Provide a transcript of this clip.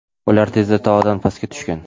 ular tezda tog‘dan pastga tushgan.